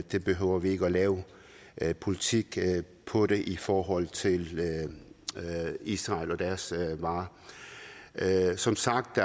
vi behøver ikke lave lave politik politik i forhold til israel og deres varer der er som sagt